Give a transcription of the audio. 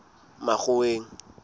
makgoweng